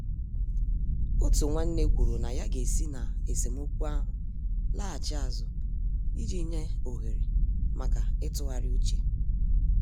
Otu nwanne kwuru na ya ga-esi n' esemokwu ahụ laghachi azụ iji nye ohere maka ịtụgharị uche.